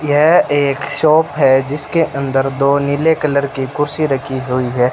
यह एक शॉप है जिसके अंदर दो नीले कलर की कुर्सी रखी हुई है।